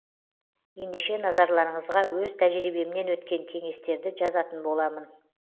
ендеше назарларыңызға өз тәжірибемнен өткен кеңестерді жазатын боламын